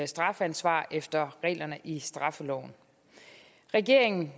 strafansvar efter reglerne i straffeloven regeringen